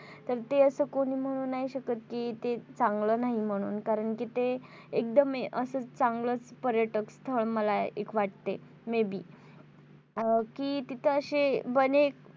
तर ते असं ते कोणी म्हणू नाही शकत कि ते चांगलं नाही म्हणून कारण कि ते एकदम असं चांगलं पर्यटन स्थळ मला एक वाटते. maybe कि तिथं ते अशे बने